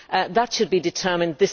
That should be determined